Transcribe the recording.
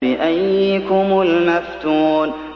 بِأَييِّكُمُ الْمَفْتُونُ